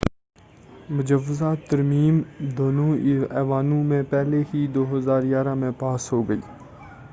مجوزہ ترمیم دونوں ایوانوں میں پہلے ہی 2011 میں پاس ہو گئی